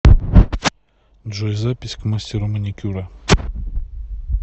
джой запись к мастеру маникюра